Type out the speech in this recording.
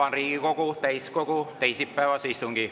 Avan Riigikogu täiskogu teisipäevase istungi.